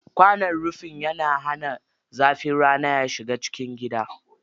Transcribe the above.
Kwanon rufi yana hana zafin rana ya shiga cikin gida.